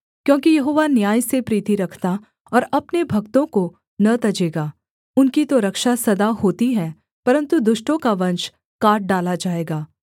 क्योंकि यहोवा न्याय से प्रीति रखता और अपने भक्तों को न तजेगा उनकी तो रक्षा सदा होती है परन्तु दुष्टों का वंश काट डाला जाएगा